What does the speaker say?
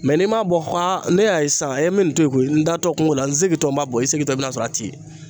Mɛ n'i m'a bɔ ko aa ne y'a ye sisan e n me nin to yen ko ye n tatɔ kungo la n se tɔ n b'a bɔ i segintɔ i bi na sɔrɔ a ti yen